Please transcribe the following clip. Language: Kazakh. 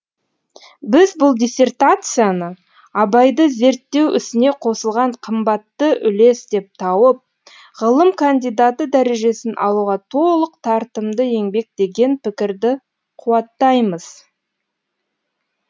біз бұл диссертацияны абайды зерттеу ісіне қосылған қымбатты үлес деп тауып ғылым кандидаты дәрежесін алуға толық тартымды еңбек деген пікірді қуаттаймыз